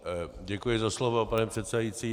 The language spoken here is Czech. Děkuji za slovo, pane předsedající.